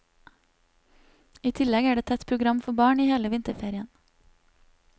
I tillegg er det tett program for barn i hele vinterferien.